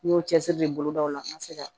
N y'o cɛsiri de bolo daw la n ka se ka